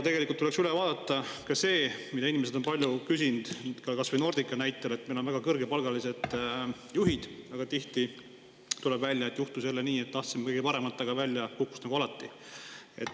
Tegelikult tuleks üle vaadata ka see, mida inimesed on palju küsinud kas või Nordica puhul, et meil on väga kõrgepalgalised juhid, aga tihti tuleb välja, et juhtus jälle nii, et tahtsime kõige paremat, aga välja kukkus nagu alati.